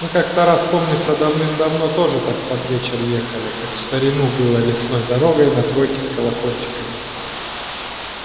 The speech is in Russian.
мы как-то раз помнится давным-давно тоже так под вечер ехали как в старину было лесной дорогой на тройке с колокольчиками